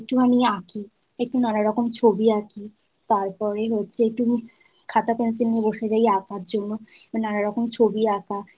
একটুখানি আঁখি একটু নানা রকম ছবি আঁকি। তারপরে হচ্ছে একটু খাতা pencil নিয়ে বসে আঁকার জন্য নানা রকম ছবি আঁকা।